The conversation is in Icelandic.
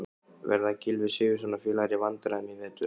Verða Gylfi Sigurðsson og félagar í vandræðum í vetur?